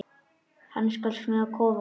Hann skal smíða kofa.